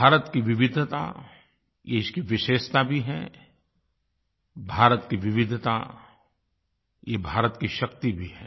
भारत की विविधता ये इसकी विशेषता भी है भारत की विविधता ये भारत की शक्ति भी है